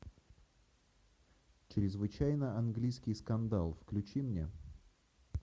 чрезвычайно английский скандал включи мне